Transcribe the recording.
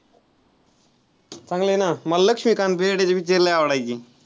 चांगलं आहे ना मला लक्ष्मीकांत बेर्डेचे picture लय आवडायचे.